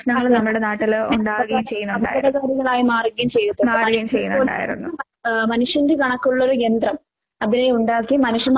അപകടകാരികളായി മാറുകയും ചെയ്യുന്നൊണ്ട്. ആഹ് മനുഷ്യന്റെ കണക്കുള്ളൊരു യന്ത്രം. അതിനെയൊണ്ടാക്കി മനുഷ്യൻ